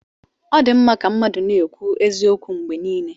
Ọ dị mma ka mmadụ na-ekwu eziokwu mgbe niile.